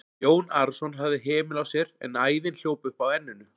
Jón Arason hafði hemil á sér en æðin hljóp upp á enninu.